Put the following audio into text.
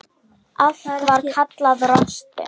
Allt annað var kallað rosti.